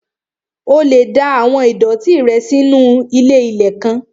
O lè da àwọn ìdọ̀ọ̀tí rẹ nù sínu ilé-ilẹ̀ kan